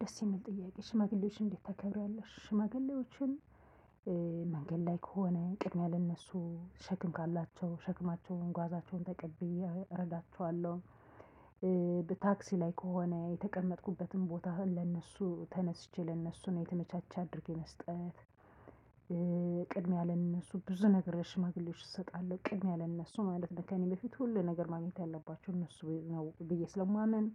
ደስ ሚል ጥያቄ ሽማግሌዎችን እንዴት ታከብሪዋለሽ? ሽማግሌዎችን እናገ ላይ ከሆነ ቅድሚያ ለእነሱ ሸክም ካላቸው ሸክማቸውን ጓዛቸውን ተቀብዬ እረዳቸዋለሁ። በታክሲ ላይ ከሆነ የተቀመጥኩበትን ቦታ ለእነሱ ተነስቼ ለእነሱ ነው የተመቻቸ አድርጌ መስጠት። ቅድሚያ ለእነሱ ብዙ ነገሮሽ ሽማግሌዎች እሰጣለሁ ቅድሚያ ያለ እነሱ ማለት ነው ከእኔ በፊት ሁሉ ነገር ማግኘት ያለባቸው እነሱ ነው ብዬ ስለማምን